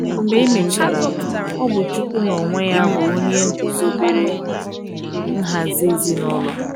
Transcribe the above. mgbe emechara, ọbụ chụkwu na onwe ya bụ onye gụzọbere nhazi ezinulo